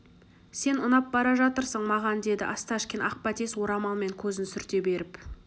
сен ұнап бара жатырсың маған деді осташкин ақ бәтес орамалмен көзін сүрте беріп